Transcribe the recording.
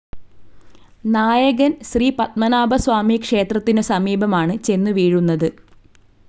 നായകൻ ശ്രീപദ്മനാഭസ്വാമിക്ഷേത്രത്തിനു സമീപമാണ് ചെന്നു വീഴുന്നത്.